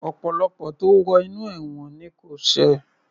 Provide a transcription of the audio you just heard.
Ọ̀pọ̀lọpọ̀ tó wo inú ẹ̀wọ̀n ni kò ṣẹ̀